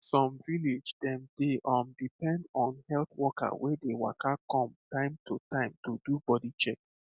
some village dem dey um depend on health worker wey dey waka come time to time do body check